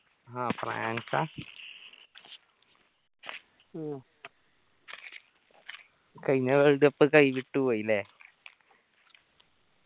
ഹാ ഫ്രാൻസ് ആ കയിഞ്ഞ world cup കൈവിട്ട് പോയി ല്ലേ